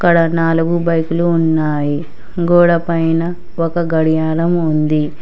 ఇక్కడ నాలుగు బైకులు ఉన్నాయి గోడపైన ఒక గడియారం ఉంది